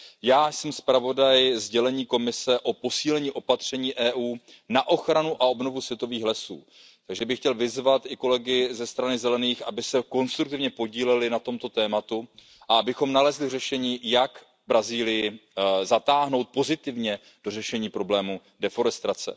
Já jsem zpravodaj sdělení Komise o posílení opatření Evropské unie na ochranu a obnovu světových lesů. Chtěl bych vyzvat i kolegy ze strany Zelených, aby se konstruktivně podíleli na tomto tématu a abychom nalezli řešení, jak Brazílii pozitivně zatáhnout do řešení problému odlesňování.